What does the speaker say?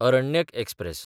Aranyak express